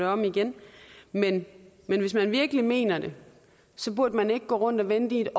om igen men men hvis man virkelig mener det burde man ikke gå rundt og vente i